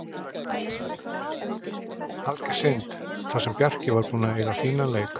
Alger synd, þar sem Bjarki var búinn að eiga fínan leik.